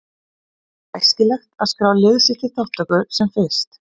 Því er æskilegt að skrá lið sitt til þátttöku sem fyrst.